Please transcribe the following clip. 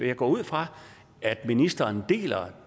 jeg går ud fra at ministeren deler